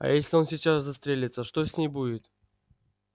а если он сейчас застрелится что с ней будет